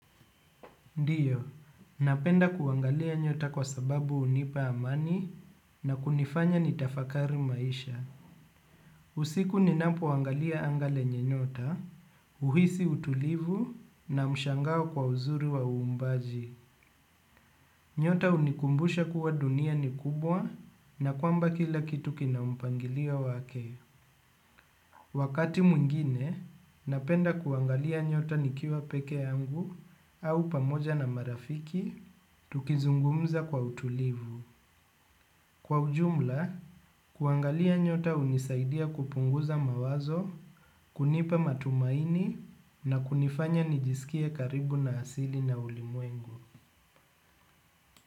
Ndiyo, napenda kuangalia nyota kwa sababu hunipa amani na kunifanya nitafakari maisha. Usiku ninapoangalia anga lenye nyota, huhisi utulivu na mshangao kwa uzuri wa uumbaji. Nyota hunikumbusha kuwa dunia ni kubwa na kwamba kila kitu kina mpangilio wake. Wakati mwingine, napenda kuangalia nyota nikiwa pekee yangu au pamoja na marafiki, tukizungumza kwa utulivu. Kwa ujumla, kuangalia nyota hunisaidia kupunguza mawazo, kunipa matumaini na kunifanya nijisikie karibu na hasili na ulimwengu.